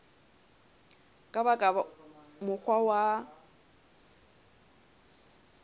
ka ba ka mokgwa wa